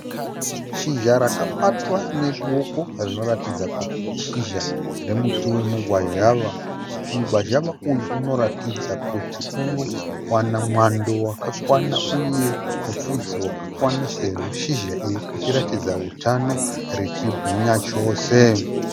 Shizha rakabatwa neruoko rinoratidza kuti ishizha remuti wemugwazhawa. Mugwazhawa uyu unoratidza kuti unowana mwando wakakwana uye mupfudze wakakwana sezvo shizha iri richiratidza utano richibwinya chose.